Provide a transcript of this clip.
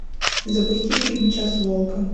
запусти фильм час волка